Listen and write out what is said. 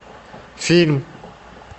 фильм